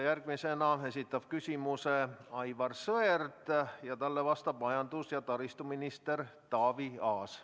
Järgmisena esitab küsimuse Aivar Sõerd ja talle vastab majandus- ja taristuminister Taavi Aas.